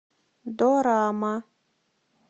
дорама